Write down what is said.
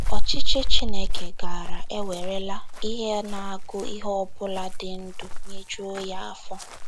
Ọchịchị Chineke gaara ewerela “ ihe na - agụ ihe ọ bụla dị ndụ nyejuo ya afọ. ”